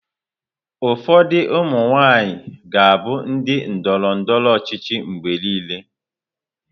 Ụfọdụ ụmụ nwaanyị ga-abụ ndị ndọrọ ndọrọ ọchịchị mgbe niile.